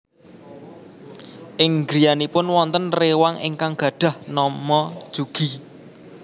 Ing griyanipun wonten réwang ingkang gadhah nama Jugi